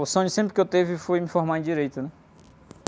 O sonho sempre que eu tive foi me formar em Direito, né?